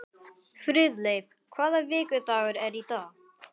Friðleif, hvaða vikudagur er í dag?